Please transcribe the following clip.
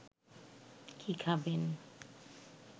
কি খাবেন